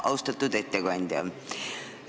Austatud ettekandja!